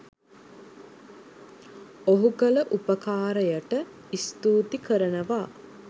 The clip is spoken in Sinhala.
ඔහු කල උපකාරයට ස්තූති කරනවා